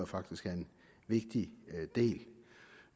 faktisk er en vigtig del